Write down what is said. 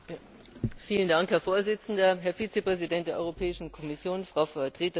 Herr Präsident, Herr Vizepräsident der Europäischen Kommission, Frau Vertreterin des Rates!